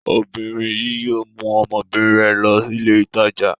Obìnrin yìí yóò mú ọmọbìnrin rẹ̀ lọ ilé-ìtajà.